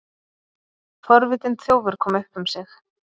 Forvitinn þjófur kom upp um sig